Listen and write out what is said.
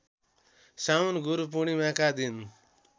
साउन गुरूपूर्णिमाका दिन